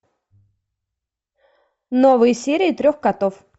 новые серии трех котов